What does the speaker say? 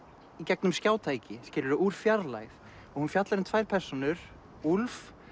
í gegnum skjátæki úr fjarlægð og hún fjallar um tvær persónur úlf